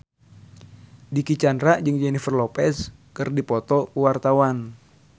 Dicky Chandra jeung Jennifer Lopez keur dipoto ku wartawan